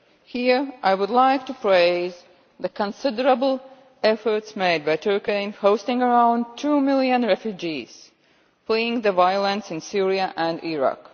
Here I would like to praise the considerable efforts made by Turkey in hosting around two million refugees fleeing the violence in Syria and Iraq.